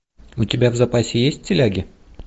у тебя в запасе есть стиляги